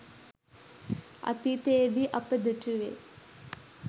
අතීතයේදී අප දුටුවේ